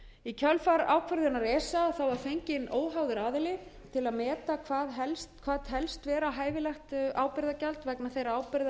í kjölfar ákvörðunar esa var fengin óháður aðili til að meta hvað telst vera hæfilegt ábyrgðargjald vegna þeirra ábyrgða eigenda sem eru á